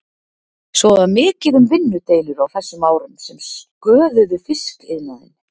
Svo var mikið um vinnudeilur á þessum árum sem sköðuðu fiskiðnaðinn.